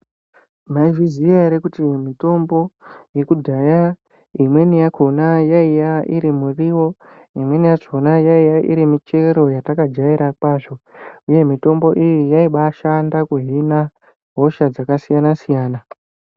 Mwaizviziya ere kuti mitombo yekudhaya imweni yakona yaiye iri miriwo imweniyachona yaiya irimichero yatakajaira kwazvo uye mitombo iyi yaibaashanda kuhina hosha dzakasiyanasiyana.